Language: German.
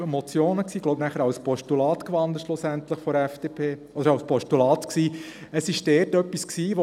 Es handelt sich um drei Motionen, die von der FDP schliesslich in Postulate gewandelt wurden.